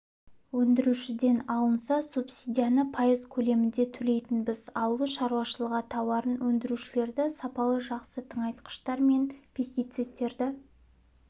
өндірушіден алынса субсидияны пайыз көлемінде төлейтінбіз ауыл шаруашылығы тауарын өндірушілерді сапалы жақсы тыңайтқыштар мен пестицидтерді